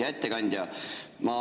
Hea ettekandja!